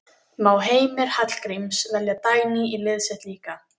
Má Heimir Hallgríms velja Dagný í liðið sitt líka?